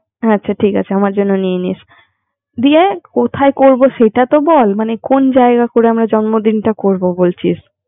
হ্যা আচ্ছা ঠিক আছেআমার জন্য নিয়ে নিসকোথায় করব সেটা তো বলকোন জায়গায় করে আমরা জন্মদিনা করবি বলছিস